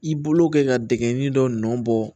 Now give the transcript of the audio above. I bolo kɛ ka dingɛ dɔ nɔ bɔ